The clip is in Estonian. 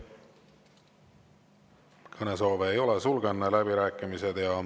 Kõnesoove ei ole, sulgen läbirääkimised.